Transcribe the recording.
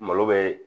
Malo bɛ